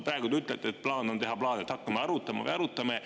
Praegu te ütlete, et plaan on teha plaane, et hakkame arutama või arutame.